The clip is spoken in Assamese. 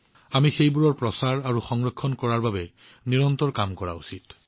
আমি এইসমূহ শোভিত আৰু সংৰক্ষণ কৰিবলৈ নিৰন্তৰে কাম কৰা উচিত